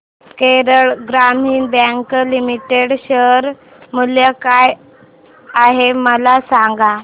Kerala Gramin bank limited share मूल्य काय आहे मला सांगा